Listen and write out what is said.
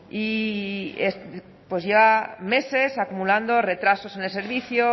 y ya meses acumulando retrasos en el servicio